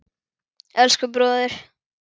Elsku bróðir.